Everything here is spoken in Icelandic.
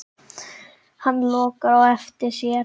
Hann lokar á eftir sér.